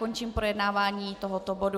Končím projednávání tohoto bodu.